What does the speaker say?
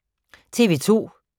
TV 2